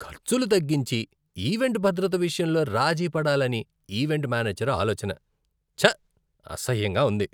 ఖర్చులు తగ్గించి, ఈవెంట్ భద్రత విషయంలో రాజీ పడాలని ఈవెంట్ మేనేజర్ ఆలోచన, చ్చ! అసహ్యంగా ఉంది.